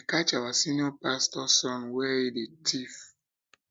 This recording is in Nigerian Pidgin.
they catch our senior pastor son where he dey thief